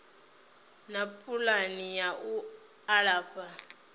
na pulani ya u alafha